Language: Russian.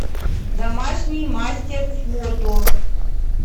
домашний мастер фото